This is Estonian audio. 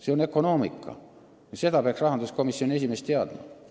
See on ökonoomika ja seda peaks rahanduskomisjoni esimees teadma.